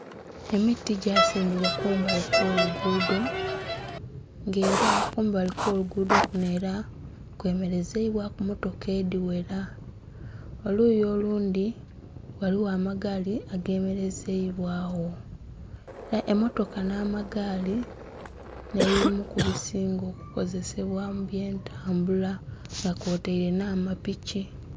Emiti gyasimbibwa kumbali kw'oluguudo nga era kumbali kw'oluguudo kuno era kwemelezeibwaku mmotoka edhighera. Oluuyi olundi ghaliwo amagaali agemelezeibwawo, emmotoka n'amagaali nebimu kubisinga okukozesebwa mu by'entambula nga kwotaire n'amapiki.